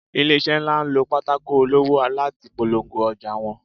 ilese nla n lọ pàtàkó olọwọ latí pọlọngó ojà wón